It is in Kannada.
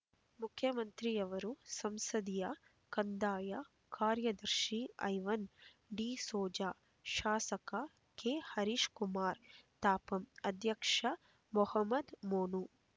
ಮುಖ್ಯಮಂತ್ರಿಯವರ ಸಂಸದೀಯ ಕಂದಾಯ ಕಾರ್ಯದರ್ಶಿ ಐವನ್ ಡಿಸೋಜಾ ಶಾಸಕ ಕೆಹರೀಶ್ ಕುಮಾರ್ ತಾಪಂ ಅಧ್ಯಕ್ಷ ಮಹಮ್ಮದ್ ಮೋನು